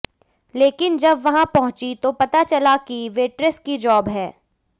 लेकिन जब वहां पहुंचीं तो पता चला कि वेट्रेस की जॉब है